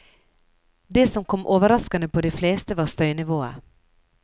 Det som kom overraskende på de fleste, var støynivået.